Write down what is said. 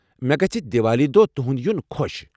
مےٚ گژھہِ دیوالی دۄہ تہنٛد یُن خۄش۔